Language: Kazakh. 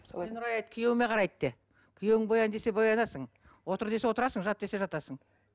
күйеуіме қарайды де күйеуің боян десе боянасың отыр десе отырасың жат десе жатасың